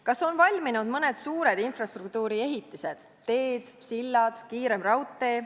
Kas on valminud mõned suured infrastruktuuri ehitised – teed, sillad, kiirem raudtee?